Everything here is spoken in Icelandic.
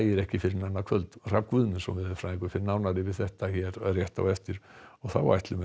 ekki fyrr en annað kvöld Hrafn Guðmundsson veðurfræðingur fer nánar yfir þetta hér rétt á eftir og þá ætlum við að